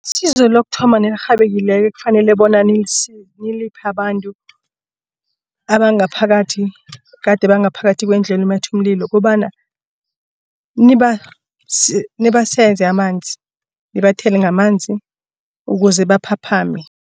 Isize lokuthoma Nelirhekileko ekufanele bona niliphe abantu abangaphakathi ekade bangaphakathi kwendlu elumatha umlilo. Kobana nibaseze amanzi nibathele ngamanzi ukuze baphaphame.